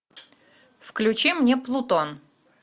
включи мне плутон